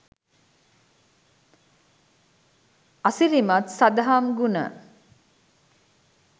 අසිරිමත් සදහම් ගුණ